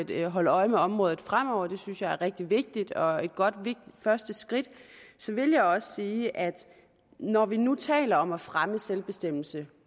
vil holde øje med området fremover det synes jeg er rigtig vigtigt og et godt første skridt så vil jeg også sige at når vi nu taler om at fremme selvbestemmelse